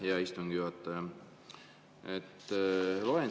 Aitäh, hea istungi juhataja!